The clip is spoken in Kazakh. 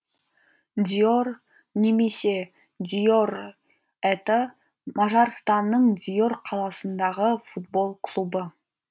дьор немесе дьор это мажарстанның дьор қаласындағы футбол клубы